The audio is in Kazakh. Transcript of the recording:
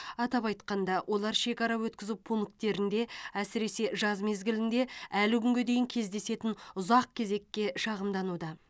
атап айтқанда олар шекара өткізу пункттерінде әсіресе жаз мезгілінде әлі күнге дейін кездесетін ұзақ кезекке шағымдануда